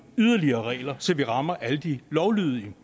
yderligere regler så vi rammer alle de lovlydige